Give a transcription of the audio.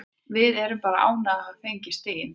Við erum bara ánægðir með að hafa fengið stigin þrjú.